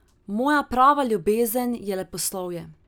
Moja prava ljubezen je leposlovje.